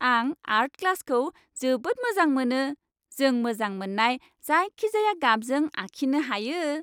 आं आर्ट क्लासखौ जोबोद मोजां मोनो। जों मोजां मोननाय जायखिजाया गाबजों आखिनो हायो।